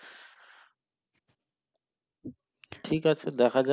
ঠিক আছে দেখা যাক।